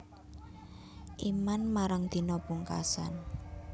Iman marang dina pungkasan